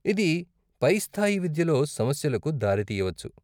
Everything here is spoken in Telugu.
ఇది పైస్థాయి విద్యలో సమస్యలకు దారి తీయవచ్చు.